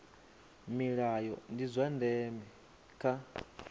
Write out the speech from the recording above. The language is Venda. milayo ndi zwa ndeme kha